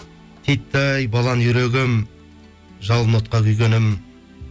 титтей балан үйрегім жалын отқа күйгенім